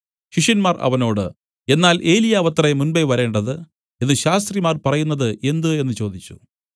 ശിഷ്യന്മാർ അവനോട് എന്നാൽ ഏലിയാവത്രെ മുമ്പെ വരേണ്ടത് എന്നു ശാസ്ത്രിമാർ പറയുന്നത് എന്ത് എന്നു ചോദിച്ചു